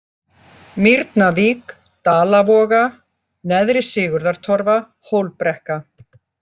Mýrnavík, Dalavoga, Neðri-Sigurðartorfa, Hólbrekka